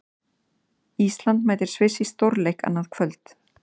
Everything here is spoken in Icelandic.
Ísland mætir Sviss í stórleik annað kvöld.